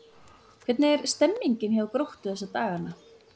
Hvernig er stemmningin hjá Gróttu þessa dagana?